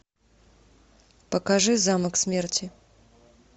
покажи замок смерти